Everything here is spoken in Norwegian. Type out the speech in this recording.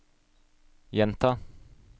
gjenta